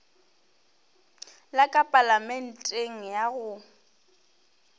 la ka palamenteng ya go